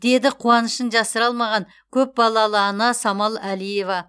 деді қуанышын жасыра алмаған көпбалалы ана самал әлиева